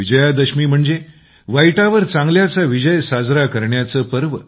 विजया दशमी म्हणजे वाईटावर चांगल्याचा विजय साजरा करण्याचं पर्व